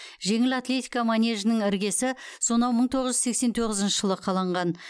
жеңіл атлетика манежінің іргесі сонау мың тоғыз жүз сексен тоғызыншы жылы қаланған